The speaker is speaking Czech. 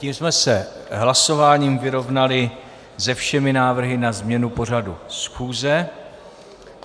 Tím jsme se hlasováním vyrovnali se všemi návrhy na změnu pořadu schůze.